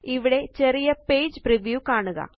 ഇവിടെ ചെറിയ page review കാണുക